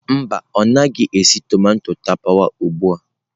Mba, ọ naghị esi tomato tapawa ugbu a.